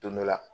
Don dɔ la